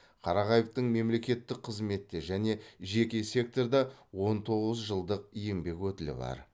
қарағаевтың мемлекеттік қызметте және жеке секторда он тоғыз жылдық еңбек өтілі бар